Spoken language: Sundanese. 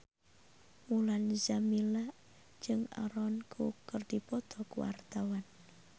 Mulan Jameela jeung Aaron Kwok keur dipoto ku wartawan